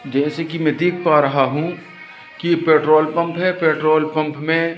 जैसे कि मैं देख पा रहा हूं कि पेट्रोल पंप है पेट्रोल पंप में--